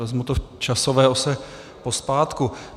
Vezmu to v časové ose pozpátku.